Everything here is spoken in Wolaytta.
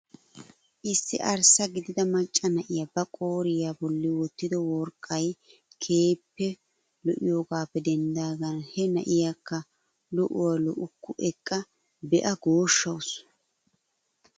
Issi arssa gidida macca na'iyaa ba qooriyaa bolli wottido worqqay keehippe lo'iyoogappe denddidagan he na'iyaakka lo"uwaa lo"ukku eqqa be'a gooshshawus.